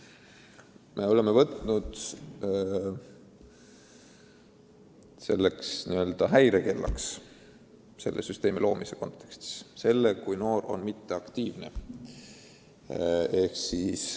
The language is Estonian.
Me oleme selle süsteemi loomisel määranud n-ö häirekellaks selle, kui noor on mitteaktiivne.